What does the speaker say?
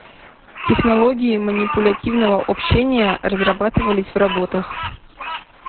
технологии манипулятивного общения разрабатывались в работах